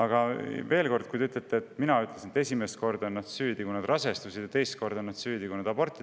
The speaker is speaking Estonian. Te väidate, et mina ütlesin, et esimest korda olid nad süüdi, kui nad rasestusid, ja teist korda olid nad süüdi, kui nad aborti tegid.